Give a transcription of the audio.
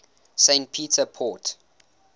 st peter port